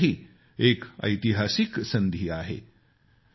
ही आपल्यासाठी एक ऐतिहासिक संधी आहे